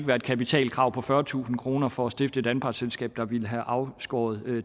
være et kapitalkrav på fyrretusind kroner for at stifte et anpartsselskab der ville have afskåret